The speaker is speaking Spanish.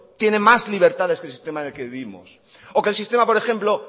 tiene más libertades que el sistema en el que vivimos o que el sistema por ejemplo